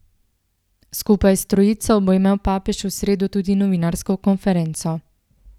Skupaj s trojico bo imel papež v sredo tudi novinarsko konferenco.